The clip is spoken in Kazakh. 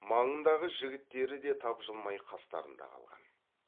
маңындағы жігіттері де тапжылмай қастарында қалған